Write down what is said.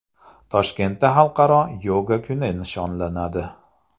Toshkentda Xalqaro yoga kuni nishonlanadi.